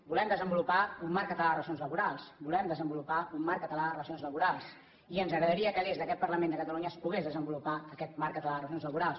volem desenvolupar un marc català de relacions laborals volem desenvolupar un marc català de relacions laborals i ens agradaria que des d’aquest parlament de catalunya es pogués desenvolupar aquest marc català de relacions laborals